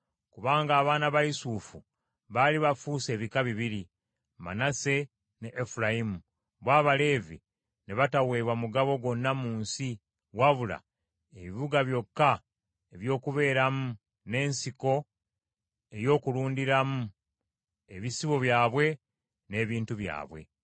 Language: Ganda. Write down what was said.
kubanga abaana ba Yusufu baali bafuuse ebika bibiri, Manase ne Efulayimu , bo Abaleevi ne bataweebwa mugabo gwonna mu nsi, wabula ebibuga byokka eby’okubeeramu, n’ensiko ey’okulundiramu ebisibo byabwe n’ebintu byabwe.